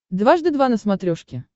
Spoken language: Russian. дважды два на смотрешке